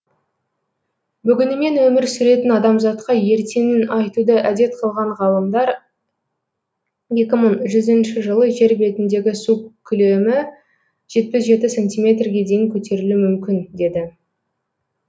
бүгінімен өмір сүретін адамзатқа ертеңін айтуды әдет қылған ғалымдар екі мың жүзінші жылы жер бетіндегі су көлемі жетпіс жеті сантиметрге дейін көтерілуі мүмкін деді